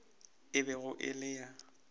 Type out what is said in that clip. e bego e le ya